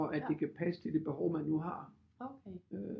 At det kan passe til det behov man nu har